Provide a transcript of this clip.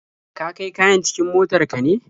Ka kai kayan cikin motar ka ne?